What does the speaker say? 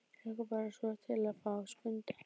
Ég hlakka bara svo til að fá Skunda.